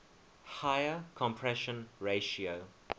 higher compression ratio